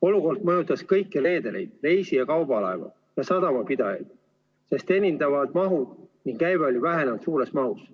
Olukord mõjutas kõiki reedereid, reisi- ja kaubalaevu ning sadamapidajaid, sest teenindatavad mahud ning käive vähenesid suures mahus.